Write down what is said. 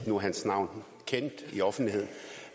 nu er hans navn kendt i offentligheden